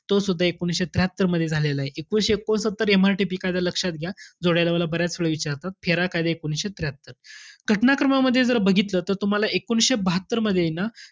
तो सुद्धा एकोणीसशे त्र्याहात्तरमध्ये झालेलाय. एकोणीसशे एकोणसत्तर M. R. T. P कायदा लक्षात घ्या. जोड्या लावाला बऱ्याच वेळा विचारतात. F. E. R. A कायदा एकोणीसशे त्र्याहत्तर. घटनाक्रमामध्ये जर बघितलं त तुम्हाला एकोणीसशे बहात्तरमध्येय ना,